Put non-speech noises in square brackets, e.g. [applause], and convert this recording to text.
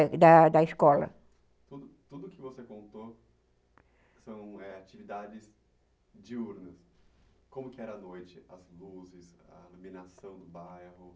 da da escola. Tudo o que você contou [unintelligible]